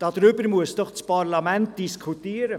Darüber muss doch das Parlament diskutieren!